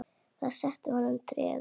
Það setti að honum trega.